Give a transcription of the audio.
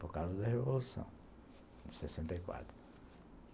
Por causa da Revolução de sessenta e quatro.